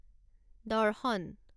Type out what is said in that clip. দৰ্শন